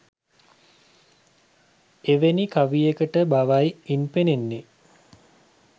එවැනි කවියට බවයි ඉන් පෙනෙන්නේ.